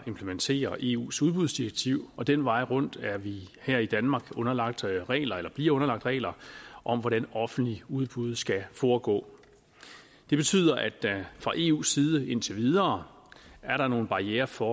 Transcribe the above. at implementere eus udbudsdirektiv og den vej rundt er vi her i danmark underlagt regler eller bliver underlagt regler om hvordan offentlige udbud skal foregå det betyder at der fra eus side indtil videre er nogle barrierer for